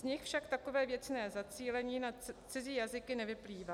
Z nich však takové věcné zacílení na cizí jazyky nevyplývá.